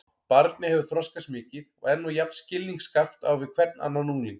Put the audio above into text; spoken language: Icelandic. Barnið hefur þroskast mikið og er nú jafn skilningsskarpt á við hvern annan ungling.